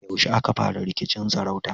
Yaushe aka fara rikicin sarauta?